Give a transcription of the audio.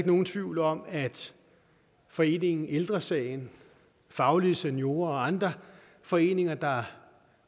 nogen tvivl om at foreningen ældre sagen faglige seniorer og andre foreninger der